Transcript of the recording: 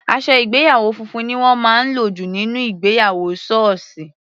Aṣọ ìgbéyàwó funfun ni wọ́n máa ń lò jù nínú ìgbéyàwó sọọsi.